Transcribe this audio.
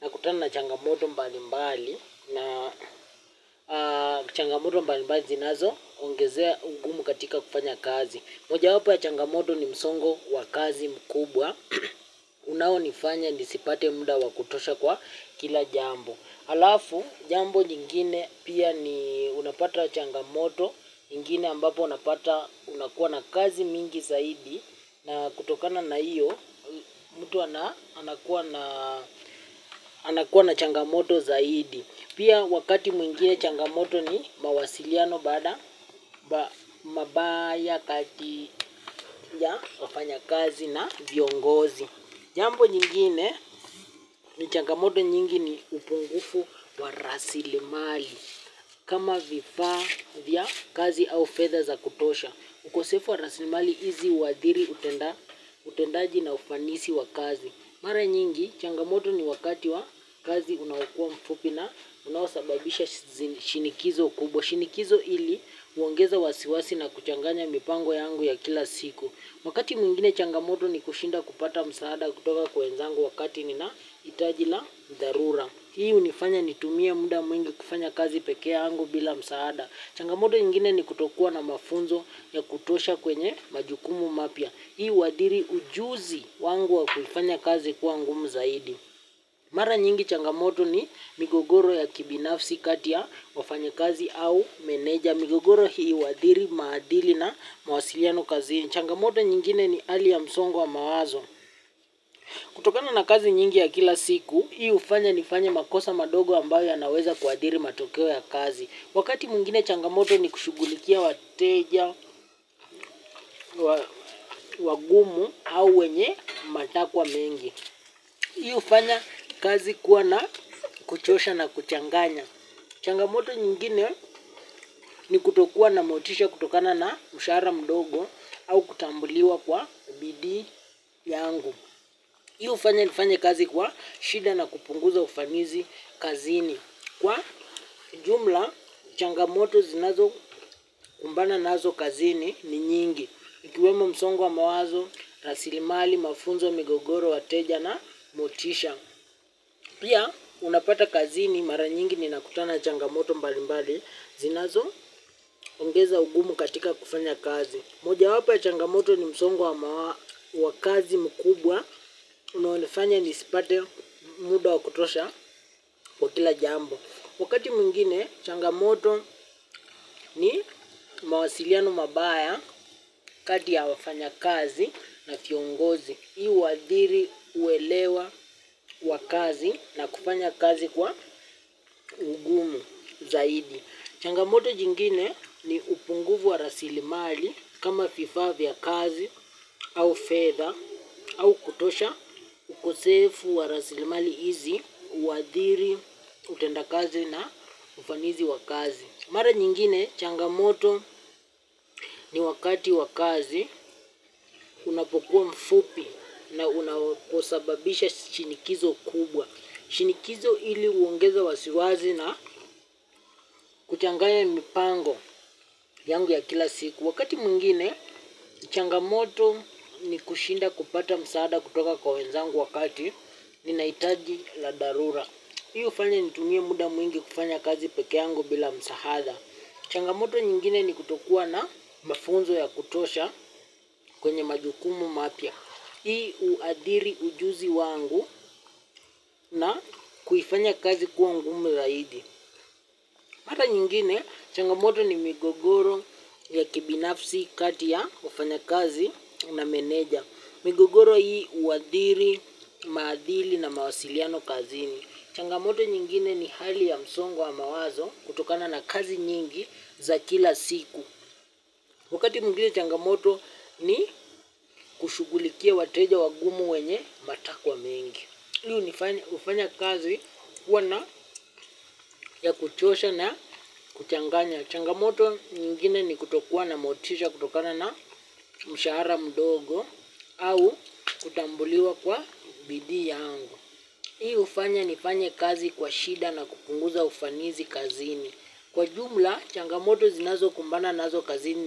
nakutana na changamoto mbalimbali na changamoto mbalimbali zinazo ongezea ungumu katika kufanya kazi. Moja wapo ya changamoto ni msongo wa kazi mkubwa, unaonifanya nisipate muda wa kutosha kwa kila jambo. Halafu jambo nyingine pia ni unapata changamoto, nyingine ambapo unapata unakuwa na kazi mingi zaidi na kutokana na hiyo mtu anakuwa na changamoto zaidi. Pia wakati mwingine changamoto ni mawasiliano baada mabaya kati ya wafanyakazi na viongozi. Jambo nyingine ni changamoto nyingi ni upungufu wa rasilimali. Kama vifaa vya kazi au fedha za kutosha. Ukosefu wa rasilimali hizi huadhiri utendaji na ufanisi wa kazi. Mara nyingi changamoto ni wakati wa kazi unaowakua mfupi na unaosababisha shinikizo kubwa. Shinikizo ili huongeza wasiwasi na kuchanganya mipango yangu ya kila siku. Wakati mwingine changamoto ni kushinda kupata msaada kutoka kwa wenzangu wakati nina hitaji la dharura. Hii hunifanya nitumie muda mwingi kufanya kazi peke yangu bila msaada. Changamoto nyingine ni kutokuwa na mafunzo ya kutosha kwenye majukumu mapya. Hii huadhiri ujuzi wangu wa kufanya kazi kuwa ngumu zaidi. Mara nyingi changamoto ni migogoro ya kibinafsi kati ya wafanyakazi au meneja. Migogoro hii huadhiri maadili na mawasiliano kazini. Changamoto nyingine ni hali ya msongo wa mawazo. Kutokana na kazi nyingi ya kila siku, hii hufanya nifanye makosa madogo ambayo yanaweza kuadhiri matokeo ya kazi. Wakati mwingine changamoto ni kushugulikia wateja, wagumu au wenye matakwa mengi. Hii hufanya kazi kuwa na kuchosha na kuchanganya. Changamoto nyingine ni kutokua na motisha kutokana na mshahara mdogo au kutambuliwa kwa bidii yangu. Hii hufanya nifanye kazi kwa shida na kupunguza ufamizi kazini. Kwa jumla, changamoto zinazo kumbana nazo kazini ni nyingi. Ikiwemo msongo wa mawazo, rasilimali, mafunzo, migogoro, wateja na motisha. Pia, unapata kazini mara nyingi ninakutana na changamoto mbali mbali, zinazo ongeza ugumu katika kufanya kazi. Moja wapo ya changamoto ni msongo wa wa kazi mkubwa, unaonifanya nisipate muda wa kutosha wa kila jambo. Wakati mwingine, changamoto ni mawasiliano mabaya kati ya wafanya kazi na viongozi. Hii huadhiri uelewa wa kazi na kufanya kazi kwa ugumu zaidi. Changamoto jingine ni upungufu wa rasilimali kama vifaa vya kazi au fedha au kutosha ukosefu wa rasilimali hizi, huadhiri, utendakazi na ufanisi wa kazi. Mara nyingine changamoto ni wakati wa kazi unapokuwa mfupi na unaposababisha shinikizo kubwa. Shinikizo ili huongeza wasiwasi na kuchanganya mipango yangu ya kila siku wakati mwingine changamoto ni kushinda kufanya kupata msaada kutoka kwa wenzangu wakati ninahitaji la dharura hii hufanya nitumie muda mwingi kufanya kazi peke yangu bila msaada changamoto nyingine ni kutokua na mafunzo ya kutosha kwenye majukumu mapya. Hii huadhiri ujuzi wangu na kuifanya kazi kuwa ngumu zaidi. Mara nyingine, changamoto ni migogoro ya kibinafsi kati ya wafanyakazi na meneja. Migogoro hii huadhiri, maadhili na mawasiliano kazini. Changamoto nyingine ni hali ya msongo wa mawazo kutokana na kazi nyingi za kila siku. Wakati mwingine changamoto ni kushugulikia wateja wagumu wenye matakwa mengi. Hii hufanya kazi kuwa na ya kuchosha na kuchanganya. Changamoto nyingine ni kutokuwa na motisha kutokana na mshahara mdogo au kutambuliwa kwa bidii yangu. Hii hufanya nifanye kazi kwa shida na kupunguza ufanisi kazini. Kwa jumla, changamoto zinazo kumbana nazo kazini.